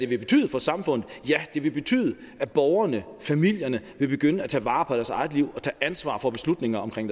det betyde for samfundet vil det betyde at borgerne familierne vil begynde at tage vare på deres eget liv og tage ansvar for beslutninger omkring